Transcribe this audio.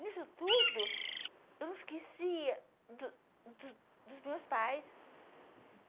Nisso tudo, eu não esquecia do do dos meus pais.